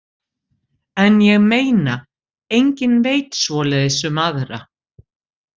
En ég meina, enginn veit svoleiðis um aðra.